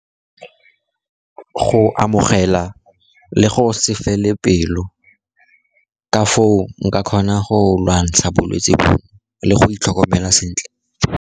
Go amogela le go se fele pelo, ka foo nka kgona go lwantsha bolwetsi bono le go itlhokomela sentle.